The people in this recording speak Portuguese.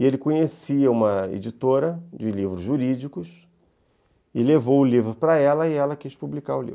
E ele conhecia uma editora de livros jurídicos e levou o livro para ela e ela quis publicar o livro.